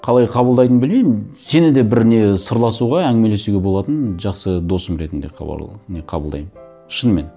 қалай қабылдайтынын білмеймін сен де бір не сырласуға әңгімелесуге болатын жақсы досым ретінде мен қабылдаймын шынымен